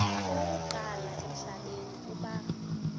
okokuqala emhlabeni uba